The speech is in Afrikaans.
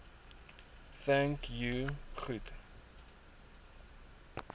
thank you goed